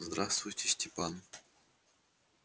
здравствуйте степан